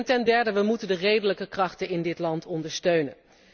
Ten derde moeten wij de redelijke krachten in dat land ondersteunen.